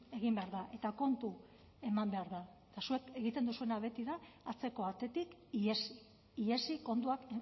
egin behar da eta kontu eman behar da eta zuek egiten duzuena beti da atzeko atetik ihesi ihesi kontuak